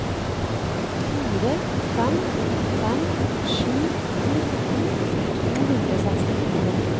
fire fem fem sju nitten to hundre og sekstifire